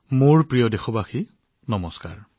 মোৰ মৰমৰ দেশবাসীসকল নমস্কাৰ